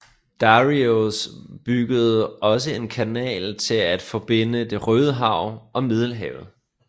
Dareios byggede også en kanal til at forbinde det Røde Hav og Middelhavet